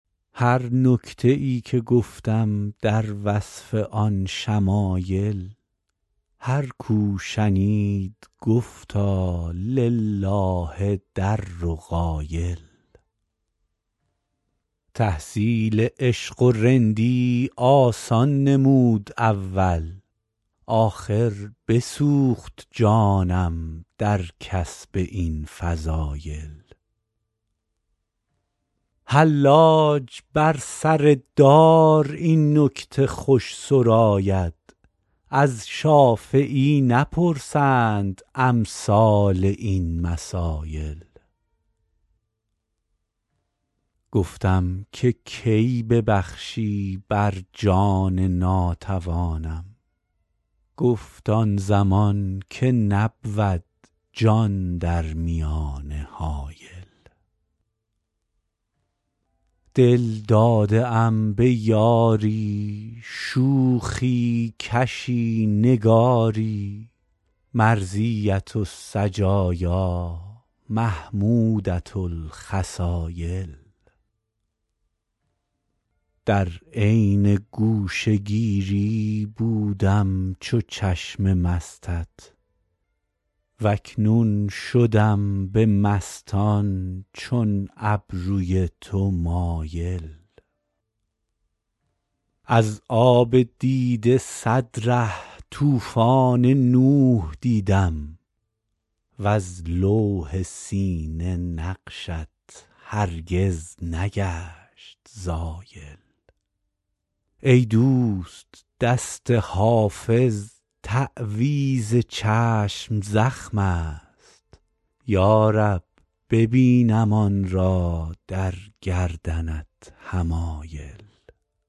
هر نکته ای که گفتم در وصف آن شمایل هر کو شنید گفتا لله در قایل تحصیل عشق و رندی آسان نمود اول آخر بسوخت جانم در کسب این فضایل حلاج بر سر دار این نکته خوش سراید از شافعی نپرسند امثال این مسایل گفتم که کی ببخشی بر جان ناتوانم گفت آن زمان که نبود جان در میانه حایل دل داده ام به یاری شوخی کشی نگاری مرضیة السجایا محمودة الخصایل در عین گوشه گیری بودم چو چشم مستت و اکنون شدم به مستان چون ابروی تو مایل از آب دیده صد ره طوفان نوح دیدم وز لوح سینه نقشت هرگز نگشت زایل ای دوست دست حافظ تعویذ چشم زخم است یا رب ببینم آن را در گردنت حمایل